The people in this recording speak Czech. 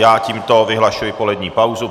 Já tímto vyhlašuji polední pauzu.